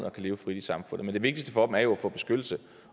og kan leve frit i samfundet men det vigtigste for dem er jo at få beskyttelse